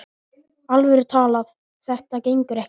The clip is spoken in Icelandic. alvöru talað: þetta gengur ekki!